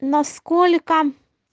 насколько